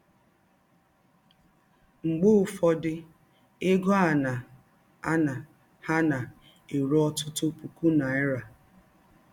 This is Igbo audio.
Mgbe ụfọdụ, egọ a na - ana ha na - erụ ọtụtụ pụkụ naịra.